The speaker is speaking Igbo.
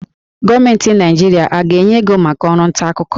Gọọmenti Naịjirịa a ga-enye ego maka ọrụ ntaakụkọ?